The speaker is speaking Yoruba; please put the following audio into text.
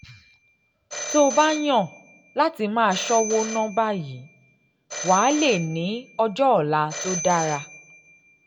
tó o bá yàn láti máa ṣọ́wó ná báyìí wàá lè ní ọjọ́ ọ̀la tó dára